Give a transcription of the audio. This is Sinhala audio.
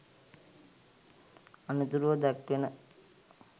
අනතුරුව දැක්වෙන